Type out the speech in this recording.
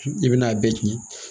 I bɛn'a bɛɛ tiɲɛ